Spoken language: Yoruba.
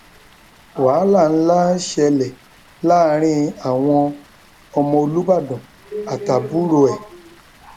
wàhálà ńlá ṣẹlẹ láàrin àwọn ọmọ olùbàdàn àtàbúrò ẹ